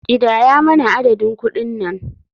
Kidaya mana adadin kuɗin nan.